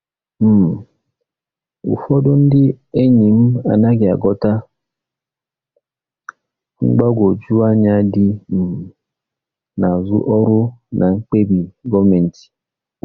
um Ụfọdụ ndị enyi m anaghị aghọta mgbagwoju anya dị um n'azụ ọrụ na mkpebi gọọmentị.